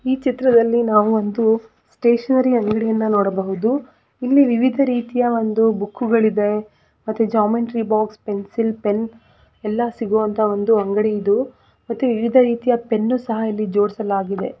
ಈ ಚಿತ್ರದಲ್ಲಿ ನಾವು ಒಂದು ಸ್ಟೇಷನರಿ ಅಂಗಡಿಯನ್ನ ನಾವು ನೋಡಬಹುದು. ಇಲ್ಲಿ ವಿವಿಧ ರೀತಿಯ ಒಂದು ಬುಕ್ ಗಳಿದೆ ಮತ್ತೆ ಜೋಮೆಟ್ರಿ ಬಾಕ್ಸ್ ಪೆನ್ಸಿಲ್ ಪೆನ್ ಎಲ್ಲಾ ಸಿಗುವಂತಹ ಅಂಗಡಿಯಿದು. ಮತ್ತೆ ವಿವಿಧ ರೀತಿಯ ಪೆನ್ನು ಸಹಾ ಇಲ್ಲಿ ಜೋಡಿಸಲಾಗಿದೆ.